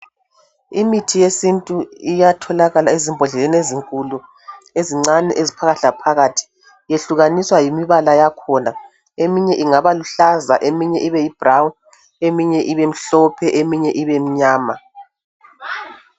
Imithi yesintu iyatholakala ezimbhodleleni ezinkulu lezincane eziphakathi laphakathi , iyekuhlaniswa yimibala yakhona , eminye ingabaluhlaza eminye ibeyibrown eminye ibemhlophe eminye ibemnyama